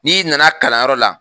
N'i nana kalanyɔrɔ la.